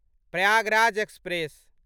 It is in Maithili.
प्रयागराज एक्सप्रेस